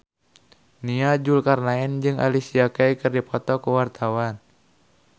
Nia Zulkarnaen jeung Alicia Keys keur dipoto ku wartawan